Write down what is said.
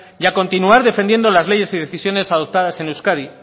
y a continuar defendiendo las leyes y decisiones adoptadas en euskadi